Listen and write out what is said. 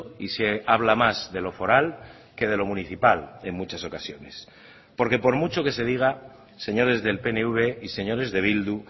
y se habla más de lo foral que de lo municipal en muchas ocasiones porque por mucho que se diga señores del pnv y señores de bildu